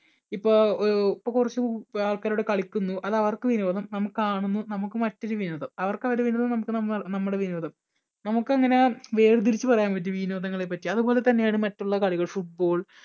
ഇപ്പൊ ഒരു ഇപ്പം കുറച്ചു ആൾക്കാർ അവിടെ കളിക്കുന്നു അത് അവർക്ക് വിനോദം നമ്മൾ കാണുന്നു നമുക്ക് മറ്റൊരു വിനോദം അവർക്ക് അവരുടെ വിനോദം നമുക്ക് നമ്മ നമ്മുടെ വിനോദം. നമുക്ക് അങ്ങനെ വേർതിരിച്ചു പറയാൻ പറ്റുമോ വിനോദങ്ങളെ പറ്റി അതുപോലെതന്നെയാണ് മറ്റുള്ള കളികളും football